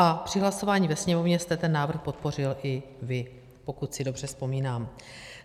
A při hlasování ve Sněmovně jste ten návrh podpořil i vy, pokud si dobře vzpomínám.